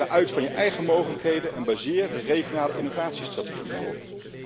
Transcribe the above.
Ga uit van je eigen mogelijkheden en baseer de regionale innovatiestrategie daarop.